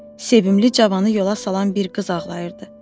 Sevimli cavanı yola salan bir qız ağlayırdı.